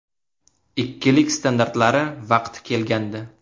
Ikkilik standartlari vaqti kelgandi.